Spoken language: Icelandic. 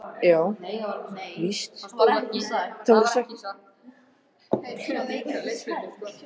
Það er einföld staðreynd sem ekki verður horft fram hjá.